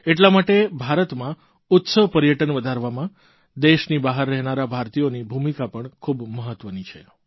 એટલા માટે ભારતમાં ઉત્સવ પર્યટન વધારવામાં દેશની બહાર રહેનારા ભારતીયોની ભૂમિકા પણ ખૂબ મહત્વની છે